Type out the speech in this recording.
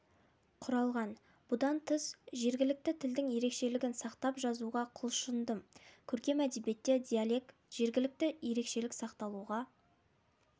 құралған бұдан тыс жергілікті тілдің ерекшелігін сақтап жазуға құлшындым көркем әдебиетте диалект жергілікті ерекшелік сақталуға